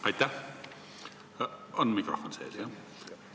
Aitäh, härra esimees!